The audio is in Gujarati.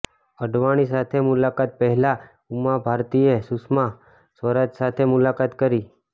અડવાણી સાથે મુલાકાત પહેલા ઉમા ભારતીએ સુષમા સ્વરાજ સાથે મુલાકાત કરી